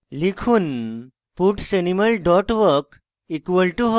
লিখুন puts animal dot walk = hops